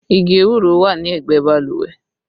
Igi ewúro wà ní ẹgbẹ́ balùwẹ̀